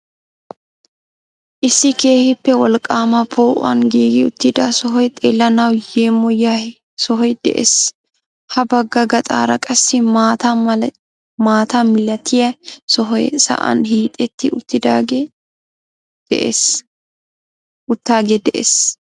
Issi keehippe wolaqqaama po'uwaan giigi uttida sohoy xeellanawu yeemoyiyaa sohoy de'ees. Ha bagga gaxaara qassi maata milatiyaa sohoy sa'aan hiixetti uttaagee de'ees.